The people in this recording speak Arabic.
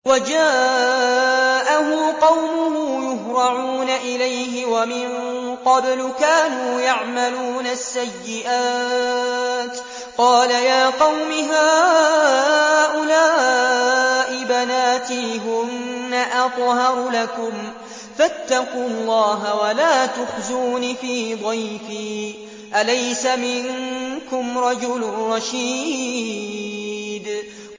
وَجَاءَهُ قَوْمُهُ يُهْرَعُونَ إِلَيْهِ وَمِن قَبْلُ كَانُوا يَعْمَلُونَ السَّيِّئَاتِ ۚ قَالَ يَا قَوْمِ هَٰؤُلَاءِ بَنَاتِي هُنَّ أَطْهَرُ لَكُمْ ۖ فَاتَّقُوا اللَّهَ وَلَا تُخْزُونِ فِي ضَيْفِي ۖ أَلَيْسَ مِنكُمْ رَجُلٌ رَّشِيدٌ